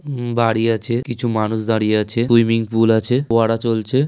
ওম বাড়ি আছে। কিছু মানুষ দাঁড়িয়ে আছে। সুইমিং পুল আছে। ফোয়ারা চলছে।